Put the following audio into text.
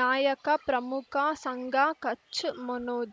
ನಾಯಕ ಪ್ರಮುಖ ಸಂಘ ಕಚ್ ಮನೋಜ್